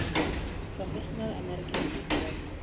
professional american football